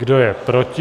Kdo je proti?